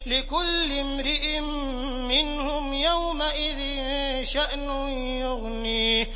لِكُلِّ امْرِئٍ مِّنْهُمْ يَوْمَئِذٍ شَأْنٌ يُغْنِيهِ